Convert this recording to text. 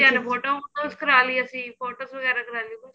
photos photos ਕਰ ਲੀ ਅਸੀਂ photos ਵਗਾਰ ਕਰ ਲੀ